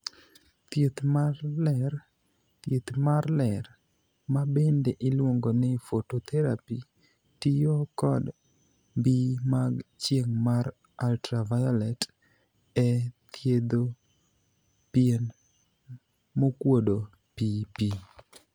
Thieth mar ler: Thieth mar ler, ma bende iluongo ni 'phototherapy' tiyo kod mbii mag chieng' mar 'ultra violet' e thietho pien mokuodo piipii.